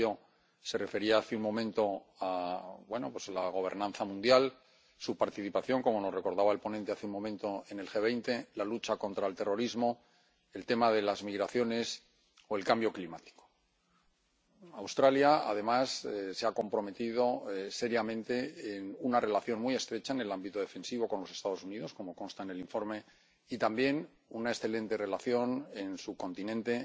comisario se refería, hace un momento, a la gobernanza mundial, a su participación —como nos recordaba el ponente hace un momento— en el G20, a la lucha contra el terrorismo, al tema de las migraciones o el cambio climático. Australia, además, se ha comprometido seriamente en una relación muy estrecha en el ámbito defensivo con los Estados Unidos, como consta en el informe, y también tiene una excelente relación en su continente